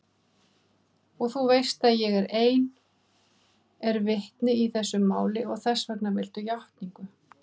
Og þú veist að ég ein er vitni í þessu máli og þessvegna viltu játningu.